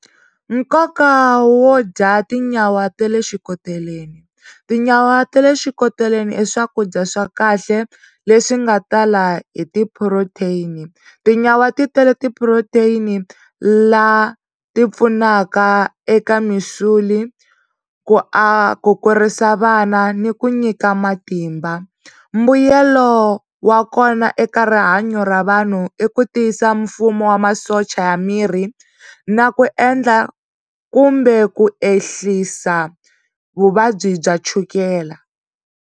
Nkoka wo dya tinyawa ta le xikoteleni tinyawa ta le xikoteleni i swakudya swa kahle leswi nga tala hi ti-protein tinyawa ti tele ti-protein la ti pfunaka eka ku ku kurisa vana ni ku nyika matimba mbuyelo wa kona eka rihanyo ra vanhu i ku tiyisa mfumo wa masocha ya miri na ku endla kumbe ku ehlisa vuvabyi bya chukela.